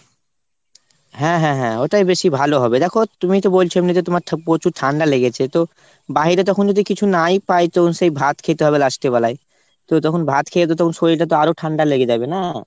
হ্যাঁ হ্যাঁ হ্যাঁ। ওইটাই বেশি ভালো হবে। দ্যাখো তুমিতো বলছো এমনিতে তোমার পোচুর ঠান্ডা লেগেছে তো। বাহিরে তখন যদি কিছু নাই পাই তখন সেই ভাত খেতে হবে last এ বেলায়। তো তখন ভাত খে তো তখন শরীরটা তো আরো ঠান্ডা লেগে যাবে না।